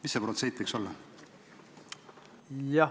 Mis see protsent võiks olla?